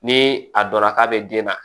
Ni a dɔnna k'a bɛ den na